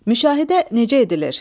Müşahidə necə edilir?